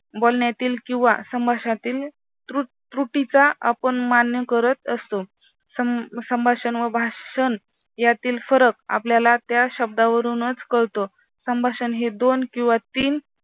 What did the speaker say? बोलण्यातील किंवा संभाषणातील त्रुटीचा आपण मान्य करत असतो संभाषण व भाषण यातील फरक आपल्याला त्या शब्दावरूनच कळतो संभाषण हे दोन किंवा तीन